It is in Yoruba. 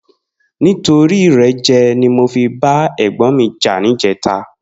Nitóri irèjè ni mó fi bà ègbòn mi jà nijètá